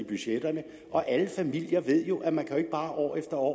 budgetterne og alle familier ved jo at man ikke bare år efter år